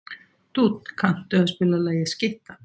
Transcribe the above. Dúnn, kanntu að spila lagið „Skyttan“?